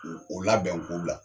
O labɛn k'o bila